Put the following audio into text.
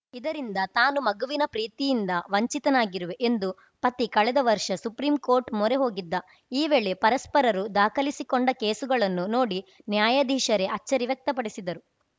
ಇದರಿಂದ ತಾನು ಮಗುವಿನ ಪ್ರೀತಿಯಿಂದ ವಂಚಿತನಾಗಿರುವೆ ಎಂದು ಪತಿ ಕಳೆದ ವರ್ಷ ಸುಪ್ರೀಂ ಕೋರ್ಟ್‌ ಮೊರೆ ಹೋಗಿದ್ದ ಈ ವೇಳೆ ಪರಸ್ಪರರು ದಾಖಲಿಸಿಕೊಂಡ ಕೇಸುಗಳನ್ನು ನೋಡಿ ನ್ಯಾಯಾಧೀಶರೇ ಅಚ್ಚರಿ ವ್ಯಕ್ತಪಡಿಸಿದರು